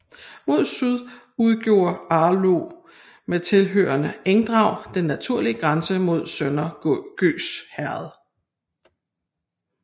Mod syd udgjorde Arlå med tilhørende engdrag den naturlige grænse mod Sønder Gøs Herred